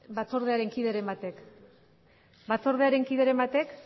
batzordearen kideren batek